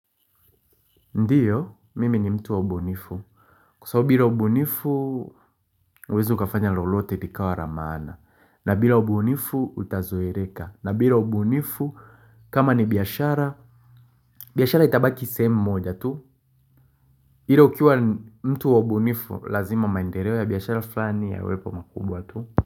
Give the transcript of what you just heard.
Ndiyo, mimi ni mtu waubunifu, kusawo bila uubunifu uwezu kafanya lolote likawa la maana, na bila uubunifu utazoereka, na bila uubunifu kama ni biashara, biashara itabaki sehemu moja tu, ila ukiwa mtu waubunifu lazima maendereo ya biashara fulani ya lwepo makubwa tu.